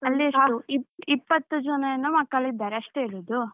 ಅಲ್ಲಿ ಎಷ್ಟು ಇಪ್ಪತ್ತು ಜನ ಯೇನ ಮಕ್ಕಳು ಇದ್ದಾರೆ ಅಷ್ಟೇ ಇರುದು.